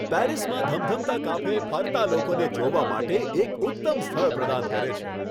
પેરિસમાં ધમધમતાં કાફે ફરતા લોકોને જોવા માટે એક ઉત્તમ સ્થળ પ્રદાન કરે છે.